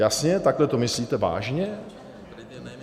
Jasně, takhle to myslíte vážně?